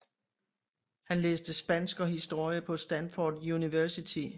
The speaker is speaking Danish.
Han læste Spansk og Historie på Stanford University